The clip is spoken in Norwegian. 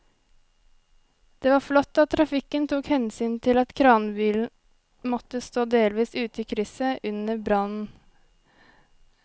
Det var flott at trafikken tok hensyn til at kranbilen måtte stå delvis ute i krysset under brannen.